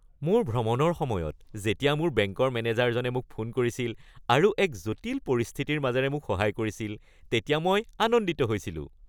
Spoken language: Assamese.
মোৰ ভ্ৰমণৰ সময়ত যেতিয়া মোৰ বেংকৰ মেনেজাৰজনে মোক ফোন কৰিছিল আৰু এক জটিল পৰিস্থিতিৰ মাজেৰে মোক সহায় কৰিছিল তেতিয়া মই আনন্দিত হৈছিলোঁ।